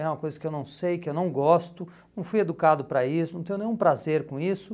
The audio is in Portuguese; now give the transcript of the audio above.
É uma coisa que eu não sei, que eu não gosto, não fui educado para isso, não tenho nenhum prazer com isso.